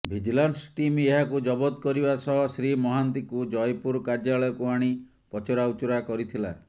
vigilance team ଏହାକୁ ଜବତ କରିବା ସହ ଶ୍ରୀ ମହାନ୍ତିଙ୍କୁ ଜୟପୁର କାର୍ଯ୍ୟାଳୟକୁ ଆଣି ପଚରାଉଚରା କରିଥିଲା